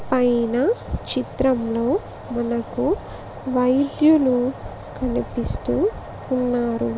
పైన చిత్రంలో మనకు వైద్యులు కనిపిస్తూ ఉన్నారు.